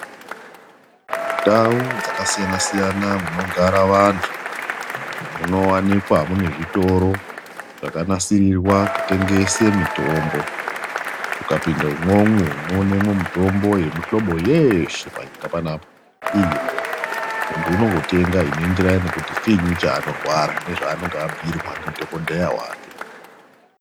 Ndau dzakasiyana-siyana munogara vantu kunowanikwa kune zvitoro zvakanasirirwa kutengese mitombo. Ukapinda umwomwo woenemwo mutombo yemuhlobo yeshe panyika panapa. Muntu unotenga inoenderana nekuti chiini chaanorwara nezvaanenge abhirwa ndidhokodhera wake.